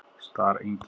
Starengi